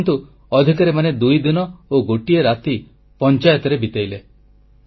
ଏଥର କିନ୍ତୁ ଅଧିକାରୀମାନେ ଦୁଇଦିନ ଓ ଗୋଟିଏ ରାତି ପଂଚାୟତରେ ବିତାଇଲେ